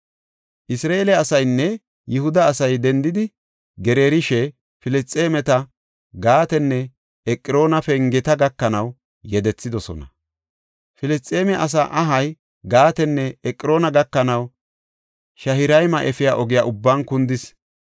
Isra7eele asaynne Yihuda asay dendidi gereerishe, Filisxeemeta Gaatenne Eqroona pengeta gakanaw yedethidosona. Filisxeeme asaa ahay Gaatenne Eqroona gakanaw Sha7irayma efiya ogiya ubban kundis.